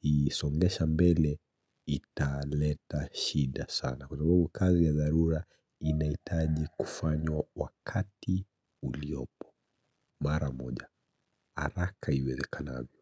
isongesha mbele, italeta shida sana Kwasabu kazi ya dharura inahitaji kufanywa wakati uliopo Mara moja, haraka iwezekanavyo.